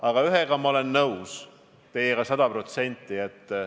Aga ühes asjas olen ma teiega sada protsenti nõus.